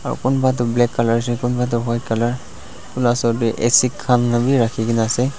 aru kumba toh black colour ase kumba toh white colour acid khan bi rakhi kene ase.